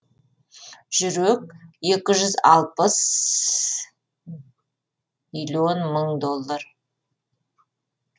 жүрек екі жүз алпыс миллион доллар